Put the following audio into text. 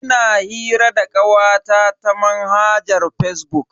Ina hira da kawata ta manhajar fazbuk.